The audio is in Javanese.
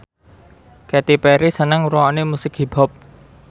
Katy Perry seneng ngrungokne musik hip hop